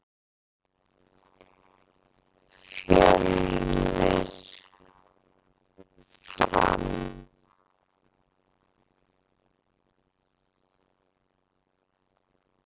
Fjölnir- Fram